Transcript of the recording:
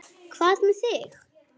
Hvað með þig?